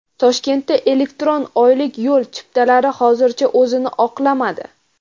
Toshkentda elektron oylik yo‘l chiptalari hozircha o‘zini oqlamadi.